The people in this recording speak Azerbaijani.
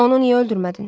Onu niyə öldürmədin?